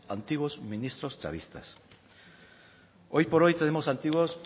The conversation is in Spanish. antiguos ministros chavistas hoy por hoy tenemos antiguos